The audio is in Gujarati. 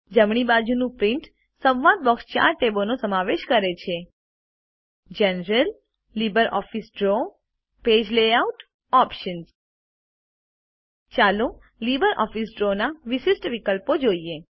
જમણી બાજુનુંPrint સંવાદ બોક્સ ચાર ટેબોનો સમાવેશ કરે છે જનરલ લિબ્રિઓફિસ drawપેજ layoutઓપ્શન્સ ચાલો લીબરઓફીસ ડ્રોના વિશિષ્ટ વિકલ્પો જોઈએ